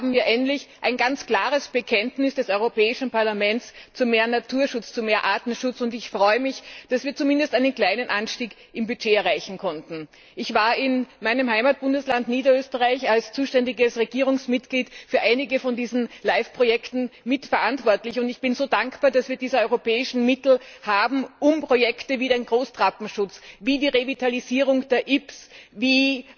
Hier haben wir endlich ein ganz klares Bekenntnis des Europäischen Parlaments zu mehr Natur und Artenschutz. Ich freue mich, dass wir zumindest einen kleinen Anstieg im Budget erreichen konnten. Ich war in meinem Heimatbundesland Niederösterreich als zuständiges Regierungsmitglied für einige von diesen LIFE Projekten mitverantwortlich und ich bin so dankbar, dass wir diese europäischen Mittel haben und Projekte wie den Großtrappenschutz, wie die Revitalisierung der Ybbs, wie